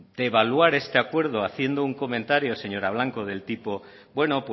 devaluar este acuerdo haciendo un comentario señora blanco del tipo bueno